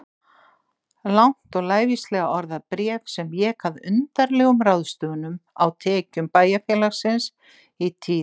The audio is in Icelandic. Langt og lævíslega orðað bréf sem vék að undarlegum ráðstöfunum á tekjum bæjarfélagsins í tíð